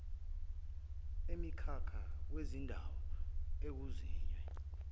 emikhakha kuzindawo ekuzinzwe